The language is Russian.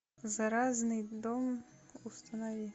заразный дом установи